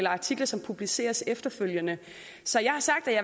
artikler som publiceres efterfølgende så jeg har sagt at